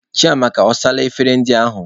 Chiamaka, ọ saala efere ndị ahụ?